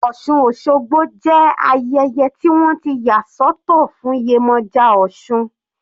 Osun osogbo jẹ́ ayẹyẹ tí wọ́n ti yà sọ́tọ̀ fún Yemoja osun.